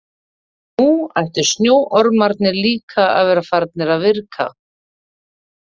Og nú ættu snjóormarnir líka að vera farnir að virka.